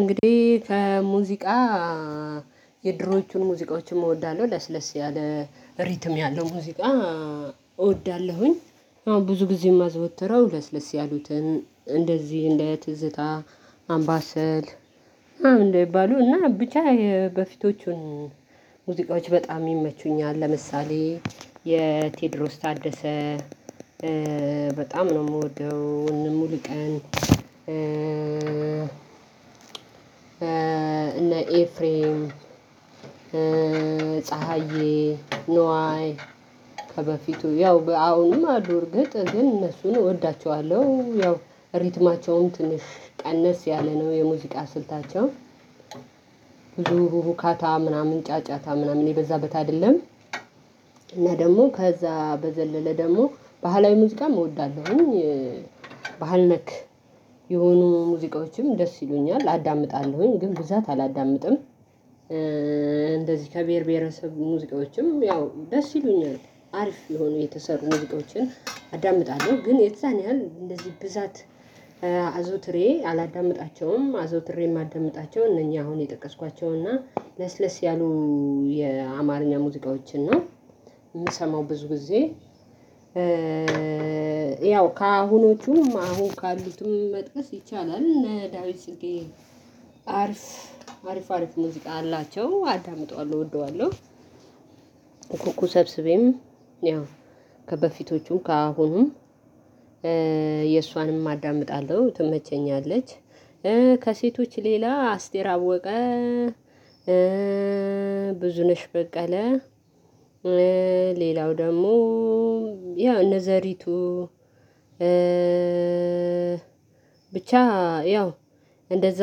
እንግዲህ ከሙዚቃ የድሮዎቹን ሙዚቃዎችን እወዳለሁ ለስለስ ያለ ሪትም ያለው ሙዚቃ። እወዳለሁኝ አሁን ብዙ ጊዜ የማዘወተረው ለስለስ ያሉትን እንደዚህ እንደ ትዝታ አምባሰል ምናምን እንደሚባሉ እና ብቻ የበፊቶቹን ሙዚቃዎች በጣም ይመቹኛል። ለምሳሌ የቴድሮስ ታደሰ በጣም ነው የምወደው። እነ ሙሉቀን እነ ኤፍሬም ፀሀዬ ኑዋይ ከበፊቱ ያው በአሁንም አሉ ርግጥ ግን እነሱን እወዳቸዋለሁ። ያው ሪትማቸውን ትንሽ ቀነስ ያለ ነው የሙዚቃ ስልታቸው ብዙ ሁካታ ምናምን ጫጫታ ምናምን የበዛበት አይደለም። እና ደግሞ ከዛ በዘለለ ደግሞ ባህላዊ ሙዚቃም እወዳለሁኝ። ባህል ነክ የሆኑ ሙዚቃዎችም ደስ ይሉኛል አዳምጣለሁኝ ግን ብዛት አላዳምጥም። እንደዚህ ከብሄር ብሄረሰብ ሙዚቃዎችም ያው ደስ ይሉኛል አሪፍ የሆኑ የተሰሩ ሙዚቆችን አዳምጣለሁ ግን የዛን ያህል እንደዚህ ብዛት አዘውትሬ አላዳምጣቸውም። አዘውትሬ የማዳምጣቸው እነኚህ አሁን የጠቀስኳቸውና ለስለስ ያሉ የአማርኛ ሙዚቃዎችን ነው የምሰማው ብዙ ጊዜ። ያው ከአሁኖቹም አሁን ካሉትም መጥቀስ ይቻላል እነ ዳዊት ጽጌ አርፍ አሪፍ አሪፍ ሙዚቃ አላቸው አዳምጠዋለሁ እወደዋለሁ። ኩኩ ሰብስቤም ያው ከበፊቶቹ ከአሁኑም የእሷንም አዳምጣለሁ ትመቸኛለች። ከሴቶች ሌላ አስቴር አወቀ ብዙነሽ በቀለ ሌላው ደግሞ ያው እነ ዘሪቱ ብቻ ያው እንደዛ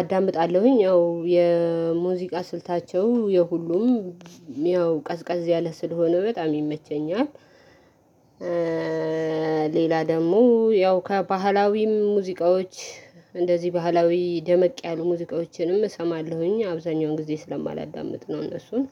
አዳምጣለሁኝ። ያው የሙዚቃ ስልታቸው የሁሉም ያው ቀዝቃዝ ያለ ስል ሆነው በጣም ይመቸኛል። ሌላ ደግሞ ያው ከባህላዊ ሙዚቃዎች እንደዚህ ባህላዊ ደመቅ ያሉ ሙዚቃዎችንም እሰማለሁኝ አብዛኛውን ጊዜ ስለማላዳምጥ ነው እነሱን